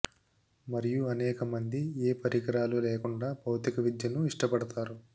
మరియు అనేక మంది ఏ పరికరాలు లేకుండా భౌతిక విద్యను ఇష్టపడతారు